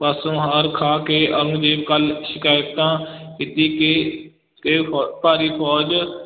ਪਾਸੋਂ ਹਾਰ ਖਾ ਕੇ ਔਰੰਗਜ਼ੇਬ ਕੋਲ ਸ਼ਿਕਾਇਤਾਂ ਕੀਤੀ ਕਿ ਕਿ ਫ਼ੋ ਭਾਰੀ ਫੌਜ